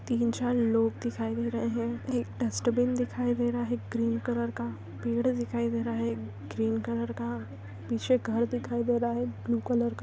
तीन चार लोग दिखाई दे रहैं हैं एक डस्टबिन दिखाई दे रहा है ग्रीन कलर का पेड़ दिखाई दे रहा हैं एक ग्रीन कलर का पीछे घर दिखाई दे रहा हैं। ब्लू कलर का--